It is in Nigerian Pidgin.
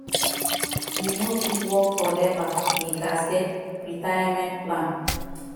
we no fit work forever we gats get retirement plan